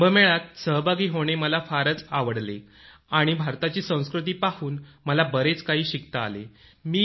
कुंभमेळ्यात सहभागी होणे मला फारच आवडले आणि भारताची संस्कृती पाहून मला बरेच काही शिकता आले